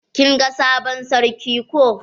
Kin ga sabon sarki ko?